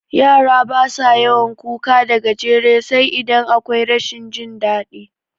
Yara basa yawan kuka da garaje sai idan akwai rashin jin daɗi